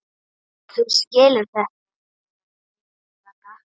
Þú skilur þetta ekki, Ragga.